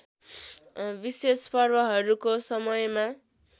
विशेष पर्वहरूको समयमा